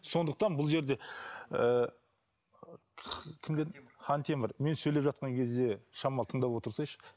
сондықтан бұл жерде ыыы кім дедің хантемір мен сөйлеп жатқан кезде шамалы тыңдап отырсайшы